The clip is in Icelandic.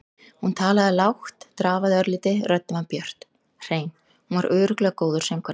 Hún talaði lágt, drafaði örlítið, röddin var björt, hrein- hún var örugglega góður söngvari.